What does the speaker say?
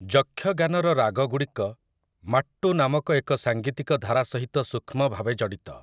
ଯକ୍ଷଗାନର ରାଗଗୁଡ଼ିକ ମାଟ୍ଟୁ ନାମକ ଏକ ସାଙ୍ଗୀତିକ ଧାରା ସହିତ ସୂକ୍ଷ୍ମ ଭାବେ ଜଡ଼ିତ ।